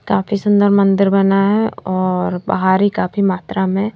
काफी सुंदर मंदिर बना है और बाहरी काफी मात्रा में--